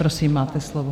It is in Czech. Prosím, máte slovo.